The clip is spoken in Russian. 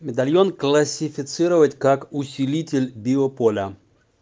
медальон классифицировать как усилитель биополя